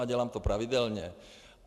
A dělám to pravidelně.